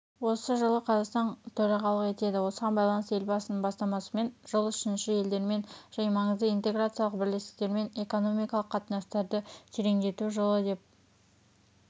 осы жылы қазақстан төрағалық етеді осыған байланысты елбасының бастамасымен жыл үшінші елдермен және маңызды интеграциялық бірлестіктермен экономикалық қатынастарды тереңдету жылы деп